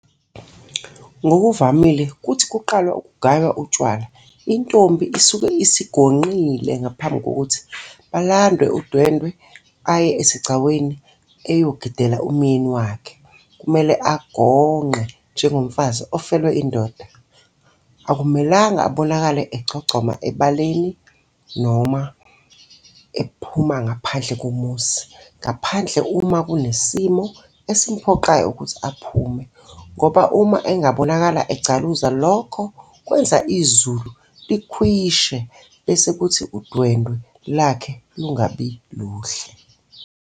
Ngokuvamile kuthi kuqalwa kugaywa utshwala intombi isuke isigonqile ngaphambi kokuthi balandwe udwendwe aye esigcawini eyogidela umyeni wakhe kumele agonqe njengomfazi ofelwe indoda akumelanga abonakale egcogcoma ebaleni noma aphume ngaphandle komuzi ngaphandle uma kunesimo esimphoqayo ukuthi aphume ngoba uma engabonakala egcaluza lokho kwenza izulu likhwishe bese kuthi udwendwe lwakhe lungabiluhle.